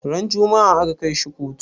Ran juma'a aka kai shi kotu?